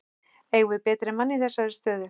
Eigum við betri mann í þessa stöðu?